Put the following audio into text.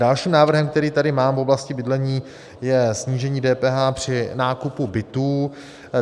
Dalším návrhem, který tady mám v oblasti bydlení, je snížení DPH při nákupu bytů.